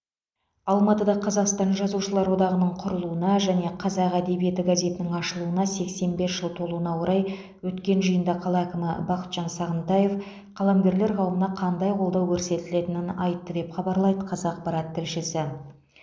алматыда қазақстан жазушылар одағының құрылуына және қазақ әдебиеті газетінің ашылуына сексен бес жыл толуына орай өткен жиында қала әкімі бақытжан сағынтаев қаламгерлер қауымына қандай қолдау көрсетілетінін айтты деп хабарлайды қазақпарат тілшісі